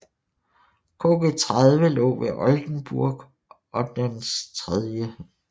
KG 30 lå ved Oldenburg og dens III